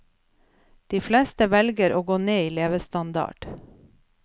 De fleste velger å gå ned i levestandard.